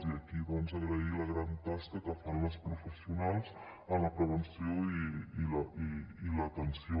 i aquí doncs agrair la gran tasca que fan les professionals en la prevenció i l’atenció